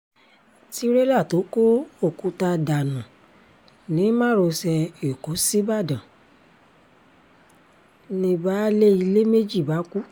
tírélà tó kó òkúta dànù ni márosẹ̀ ẹ̀kọ́ síbàdàn ni baálé ilé méjì bá kú